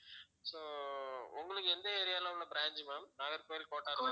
so உங்களுக்கு எந்த area ல உள்ள branch ma'am நாகர்கோயில் கோட்டார்